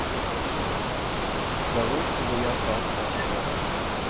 да лучше бы я остался лапшой бля